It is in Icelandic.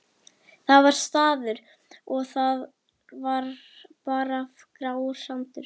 Það var staður. og þar var bara grár sandur.